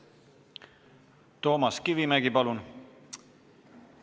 Toomas Kivimägi, palun!